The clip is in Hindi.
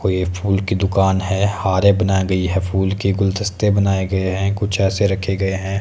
कोई एक फूल की दुकान है हारे बना गयी है फूल की गुलदस्ते बनाये गये हैं कुछ ऐसे रखे गये हैं।